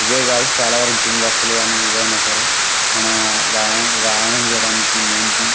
ఇవే కాదు చాలా వరకు జిమ్ వస్తువులు కానీ ఏవి అయినా సరె కొని మన వ్యాయామం చెయడానికి మెయిన్ థింగ్